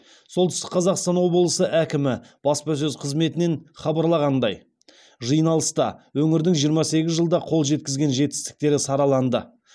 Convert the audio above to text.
солтүстік қазақстан облысы әкімі баспасөз қызметінен хабарлағандай жиналыста өңірдің жиырма сегіз жылда қол жеткізген жетістіктері сараланды